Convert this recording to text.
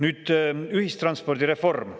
Nüüd, ühistranspordireform.